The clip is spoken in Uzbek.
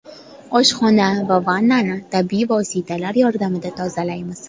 Oshxona va vannani tabiiy vositalar yordamida tozalaymiz.